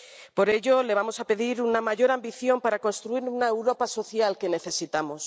Por ello, le vamos a pedir una mayor ambición para construir la Europa social que necesitamos.